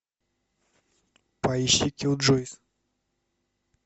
поищи киллджойс